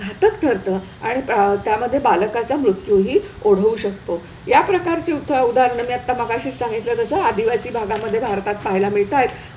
घातक ठरतं आणि त्यामध्ये बालकाचा मृत्यू ही ओढवू शकतो. या प्रकारची उदाहरणं मी आत्ता मघाशीच सांगितलं जसं आदिवासी भागामध्ये भारतात पहायला मिळतायत.